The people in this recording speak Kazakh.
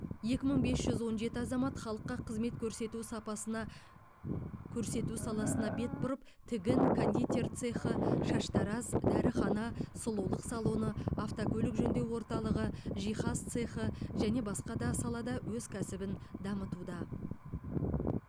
екі мың бес жүз он жеті азамат халыққа қызмет көрсету сапасына көрсету саласына бет бұрып тігін кондитер цехы шаштараз дәріхана сұлулық салоны автокөлік жөндеу орталығы жихаз цехы және басқа да салада өз кәсібін дамытуда